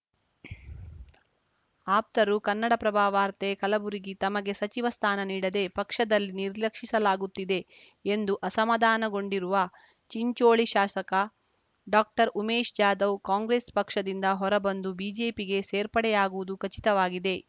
ಆಪ್ತರು ಕನ್ನಡಪ್ರಭ ವಾರ್ತೆ ಕಲಬುರಗಿ ತಮಗೆ ಸಚಿವ ಸ್ಥಾನ ನೀಡದೆ ಪಕ್ಷದಲ್ಲಿ ನಿರ್ಲಕ್ಷಿಸಲಾಗುತ್ತಿದೆ ಎಂದು ಅಸಮಾಧಾನಗೊಂಡಿರುವ ಚಿಂಚೋಳಿ ಶಾಸಕ ಡಾಕ್ಟರ್ಉಮೇಶ ಜಾಧವ್‌ ಕಾಂಗ್ರೆಸ್‌ ಪಕ್ಷದಿಂದ ಹೊರಬಂದು ಬಿಜೆಪಿಗೆ ಸೇರ್ಪಡೆಯಾಗುವುದು ಖಚಿತವಾಗಿದೆ